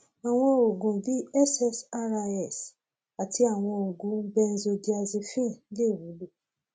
àwọn oògùn bíi ssris àti àwọn oògùn benzodiazepine lè wúlò